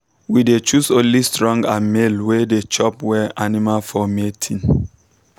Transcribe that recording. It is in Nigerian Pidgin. we dey choose only strong and male way dey chop well animals for mating.